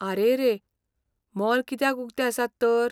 आरेरे! Mall कित्याक उक्ते आसात तर?